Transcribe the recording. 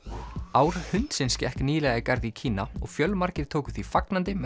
ár hundsins gekk nýlega í garð í Kína og fjölmargir tóku því fagnandi með